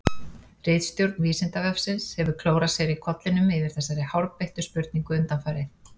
Ritstjórn Vísindavefsins hefur klórað sér í kollinum yfir þessari hárbeittu spurningu undanfarið.